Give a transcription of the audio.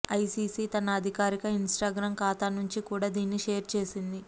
ICC తన అధికారిక Instagram ఖాతా నుంచి కూడా దీన్ని షేర్ చేసింది